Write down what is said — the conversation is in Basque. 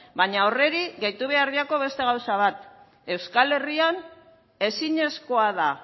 baina horri gehitu behar diogu beste gauza bat euskal herrian ezinezkoa da